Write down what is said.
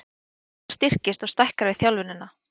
Hjartað styrkist og stækkar við þjálfunina.